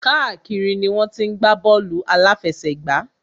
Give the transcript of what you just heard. Káàkiri ni wọ́n ti ń gbá bọ́ọ̀lù àláfẹsẹ̀gbá.